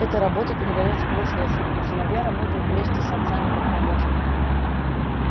эта работа передаётся по наследству сыновья работают вместе с отцами как помощники